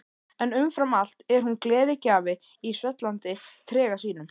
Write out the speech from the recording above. En umfram allt er hún gleðigjafi í svellandi trega sínum.